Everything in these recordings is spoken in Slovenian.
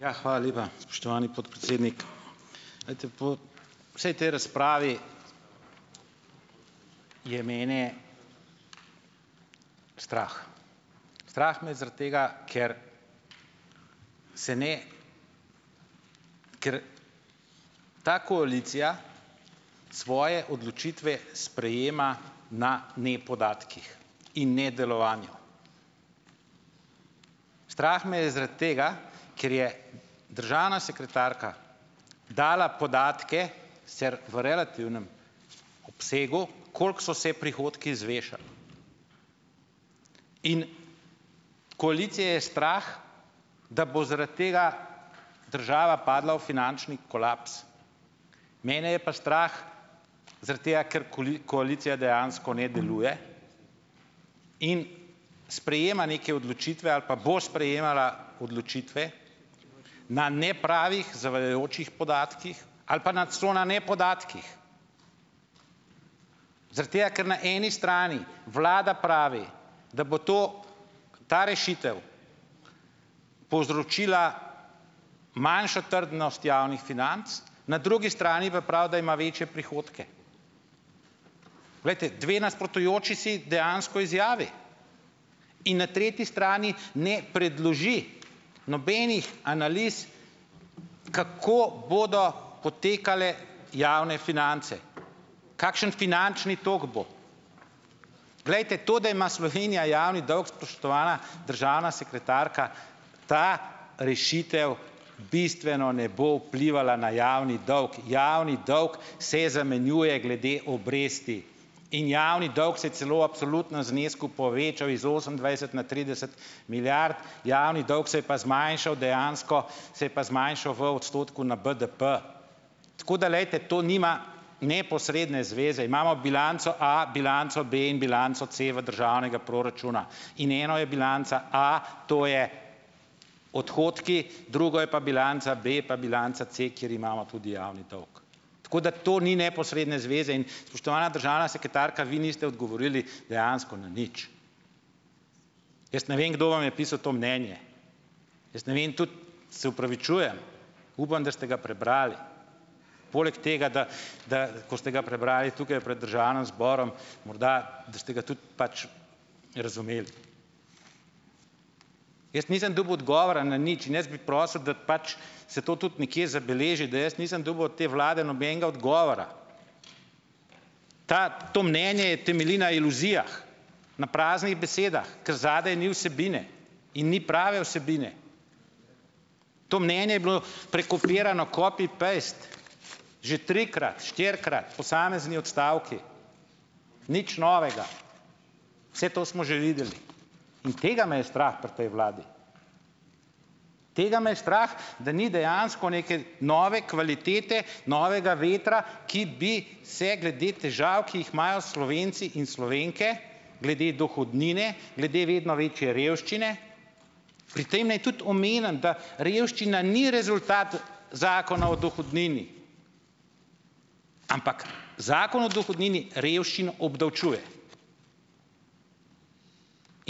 Ja, hvala lepa, spoštovani podpredsednik. Glejte, po vsej tej razpravi je mene strah. Strah me je zaradi tega, ker se ne, ker ta koalicija svoje odločitve sprejema na nepodatkih. In nedelovanju. Strah me je zaradi tega, ker je državna sekretarka dala podatke - sicer v relativnem obsegu - koliko so se prihodki zvišali. In koalicijo je strah, da bo zaradi tega država padla v finančni kolaps. Mene je pa strah zaradi tega, ker koalicija dejansko ne deluje in sprejema neke odločitve - ali pa bo sprejemala odločitve na nepravih, zavajajočih podatkih ali pa na celo na nepodatkih! Zaradi tega, ker na eni strani vlada pravi, da bo to, ta rešitev povzročila manjšo trdnost javnih financ, na drugi strani pa pravi, da ima večje prihodke. Glejte, dve nasprotujoči si, dejansko, izjavi. In na tretji strani ne predloži nobenih analiz, kako bodo potekale javne finance. Kakšen finančni tok bo. Glejte, to, da ima Slovenija javni dolg, spoštovana državna sekretarka, ta rešitev bistveno ne bo vplivala na javni dolg. Javni dolg se zamenjuje glede obresti. In javni dolg se je celo v absolutnem znesku povečal iz osemindvajset na trideset milijard. Javni dolg se je pa zmanjšal dejansko, se je pa zmanjšal v odstotku na BDP. Tako da, glejte, to nima neposredne zveze. Imamo bilanco A, bilanco B in bilanco C v državnega proračuna. In eno je bilanca A, to je - odhodki. Drugo je pa bilanca B pa bilanca C, kjer imamo tudi javni dolg. Tako da to ni neposredne zveze. In, spoštovana državna sekretarka, vi niste odgovorili dejansko na nič. Jaz ne vem, kdo vam je pisal to mnenje. Jaz ne vem tudi - se opravičujem, upam, da ste ga prebrali. Poleg tega, da, da, ko ste ga prebrali tukaj pred državnim zborom, morda da ste ga tudi pač razumeli. Jaz nisem dobil odgovora na nič. In jaz bi prosil, da pač se to tudi nekje zabeleži, da jaz nisem dobil od te vlade nobenega odgovora. Ta, to mnenje temelji na iluzijah. Na praznih besedah. Ker zadaj ni vsebine. In ni prave vsebine. To mnenje je bilo prekopirano "copy-paste". Že trikrat, štirikrat! Posamezni odstavki. Nič novega. Vse to smo že videli. In tega me je strah pri tej vladi. Tega me je strah, da ni dejansko neke nove kvalitete, novega vetra, ki bi se glede težav, ki jih imajo Slovenci in Slovenke, glede dohodnine, glede vedno večje revščine. Pri tem naj tudi omenim, da revščina ni rezultat Zakona o dohodnini, ampak Zakon o dohodnini revščino obdavčuje.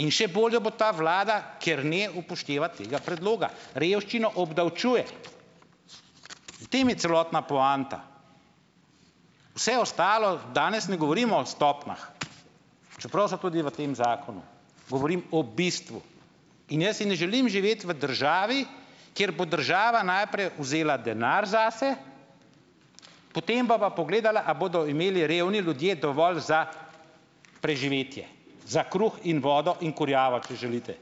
In še bolj jo bo ta vlada, ker ne upošteva tega predloga. Revščino obdavčuje, v tem je celotna poanta. Vse ostalo - danes ne govorimo o stopnjah, čeprav so tudi v tem zakonu, govorim o bistvu. In jaz si ne želim živeti v državi, kjer bo država najprej vzela denar zase, potem bi pa pogledala, a bodo imeli revni ljudje dovolj za preživetje, za kruh in vodo in kurjavo, če želite.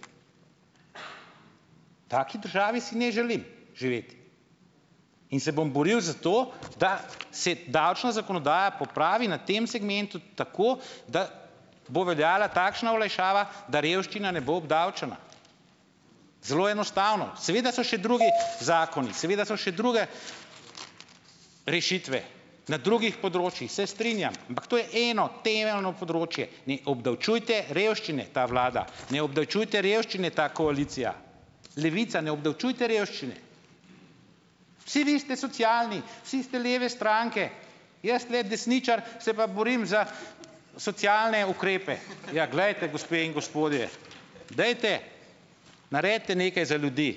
V taki državi si ne želim živeti. In se bom boril za to, da se davčna zakonodaja popravi na tem segmentu tako, da bo veljala takšna olajšava, da revščina ne bo obdavčena, zelo enostavno. Seveda so še drugi zakoni, seveda so še druge rešitve, na drugih področjih, se strinjam, ampak to je eno temeljno področje ne obdavčujte revščine, ta vlada! Ne obdavčujte revščine, ta koalicija! Levica, ne obdavčujte revščine! Vsi vi ste socialni, vsi ste leve stranke, jaz tule desničar se pa borim za socialne ukrepe! Ja, glejte, gospe in gospodje, dajte, naredite nekaj za ljudi!